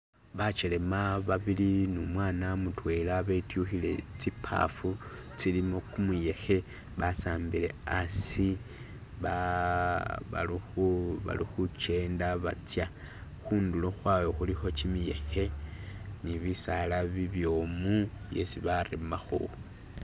bachelema babili nimwana mutwela betyuhile tsipafu tsilimu kumuyehe basambile asi bali huchenda batsa hundulo hwabwe huliho chimiyehe nibisaala bibyomu byesi baremaho